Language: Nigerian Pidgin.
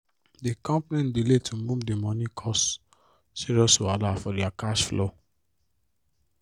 di company delay to move di money cause serious wahala for their cash flow